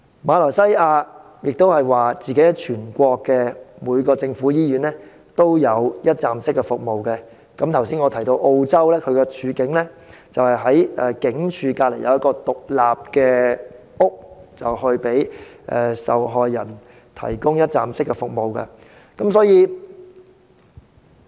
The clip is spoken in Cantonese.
馬來西亞亦聲稱全國每間政府醫院均提供一站式服務，而我剛才提及的澳洲則在警署旁設置一所獨立屋，向受害人提供一站式服務。